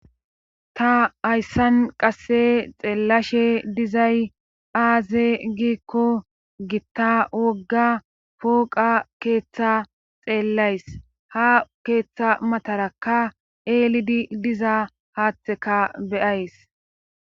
ta hayssan qasse xeellashe dizay aaze giikko gitta wogga pooqa keeththa xeellays ha keeththa matarakka eelidi diza haatheka be'ays